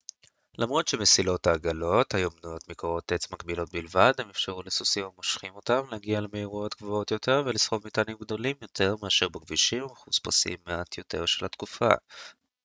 למרות שמסילות העגלות היו בנויות מקורות עץ מקבילות בלבד הן אפשרו לסוסים המושכים אותן להגיע למהירויות גבוהות יותר ולסחוב מטענים גדולים יותר מאשר בכבישים המחוספסים מעט יותר של התקופה